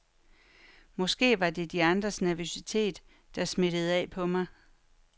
Måske var det de andres nervøsitet, der smittede af på mig.